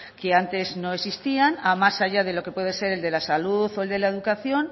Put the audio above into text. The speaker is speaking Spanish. que antes no existían más allá de lo que puede ser el de la salud o el de la educación